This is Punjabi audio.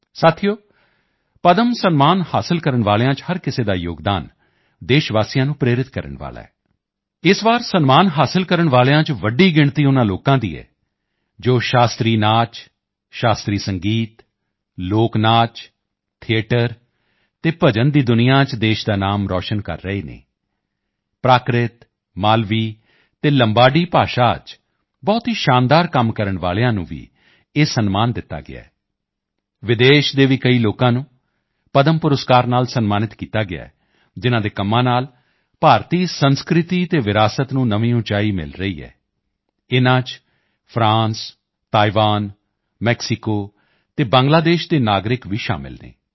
ਸਾਥੀਓ ਪਦਮ ਸਨਮਾਨ ਹਾਸਲ ਕਰਨ ਵਾਲਿਆਂ ਚ ਹਰ ਕਿਸੇ ਦਾ ਯੋਗਦਾਨ ਦੇਸ਼ਵਾਸੀਆਂ ਨੂੰ ਪ੍ਰੇਰਿਤ ਕਰਨ ਵਾਲਾ ਹੈ ਇਸ ਵਾਰ ਸਨਮਾਨ ਹਾਸਲ ਕਰਨ ਵਾਲਿਆਂ ਚ ਵੱਡੀ ਗਿਣਤੀ ਉਨ੍ਹਾਂ ਲੋਕਾਂ ਦੀ ਹੈ ਜੋ ਸ਼ਾਸਤਰੀ ਨ੍ਰਿਤ ਸ਼ਾਸਤਰੀ ਸੰਗੀਤ ਲੋਕ ਨ੍ਰਿਤ ਥੀਏਟਰ ਅਤੇ ਭਜਨ ਦੀ ਦੁਨੀਆ ਚ ਦੇਸ਼ ਦਾ ਨਾਮ ਰੋਸ਼ਨ ਕਰ ਰਹੇ ਹਨ ਪ੍ਰਾਕ੍ਰਿਤ ਮਾਲਵੀ ਅਤੇ ਲੰਬਾਡੀ ਭਾਸ਼ਾ ਚ ਬਹੁਤ ਹੀ ਸ਼ਾਨਦਾਰ ਕੰਮ ਕਰਨ ਵਾਲਿਆਂ ਨੂੰ ਵੀ ਇਹ ਸਨਮਾਨ ਦਿੱਤਾ ਗਿਆ ਹੈ ਵਿਦੇਸ਼ ਦੇ ਵੀ ਕਈ ਲੋਕਾਂ ਨੂੰ ਪਦਮ ਪੁਰਸਕਾਰ ਨਾਲ ਸਨਮਾਨਿਤ ਕੀਤਾ ਗਿਆ ਹੈ ਜਿਨ੍ਹਾਂ ਦੇ ਕੰਮਾਂ ਨਾਲ ਭਾਰਤੀ ਸੰਸਕ੍ਰਿਤੀ ਅਤੇ ਵਿਰਾਸਤ ਨੂੰ ਨਵੀਂ ਉਚਾਈ ਮਿਲ ਰਹੀ ਹੈ ਇਨ੍ਹਾਂ ਚ ਫਰਾਂਸ ਤਾਇਵਾਨ ਮੈਕਸੀਕੋ ਅਤੇ ਬੰਗਲਾਦੇਸ਼ ਦੇ ਨਾਗਰਿਕ ਵੀ ਸ਼ਾਮਿਲ ਹਨ